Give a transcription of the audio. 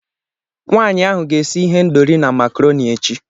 Nwaanyị ahụ ga-esi ihendọri na makrọni echi.